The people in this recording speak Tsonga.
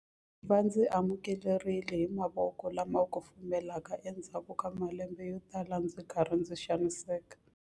Va ndzi amukerile hi mavoko lama kufumelaka endzhaku ka malembe yotala ndzi ri karhi ndzi xaniseka.